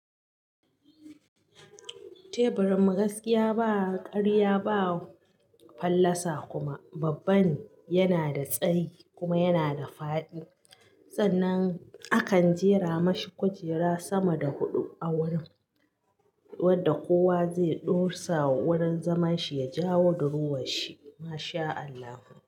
Teburin gaskiya ba karya ba fallasa kuma babban yana da tsayi kuma yana da fa'di. Sananan akan jera mashi kujera sama da huɗu a wurin wadda kowa zai ɗorsa wurin zaman shi ya jawo duhuwa shi. MashaAllah.